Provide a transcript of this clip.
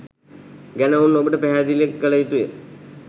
ගැන ඔවුන් ඔබට පැහැදිලි කළ යුතුය.